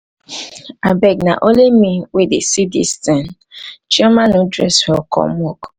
abeg na only abeg na only me wey dey see dis thing chioma no dress well come work.